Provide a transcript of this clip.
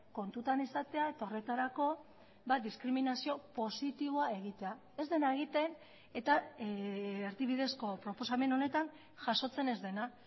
kontutan izatea eta horretarako diskriminazio positiboa egitea ez dena egiten eta erdibidezko proposamen honetan jasotzen ez dena